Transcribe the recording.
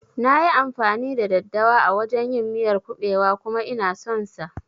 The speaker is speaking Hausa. Nayi amfani da daddawa a wajan yin miyar kuɓewa kuma Ina son sa